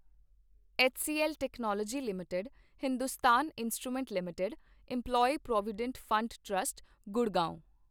HCL technology limited, Hindustan instrument limited, employee provident fund trust, Gurgaon